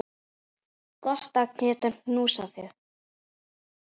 Gott að geta knúsað þig.